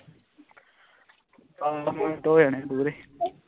minute ਹੋ ਜਾਣੇ ਪੂਰੇ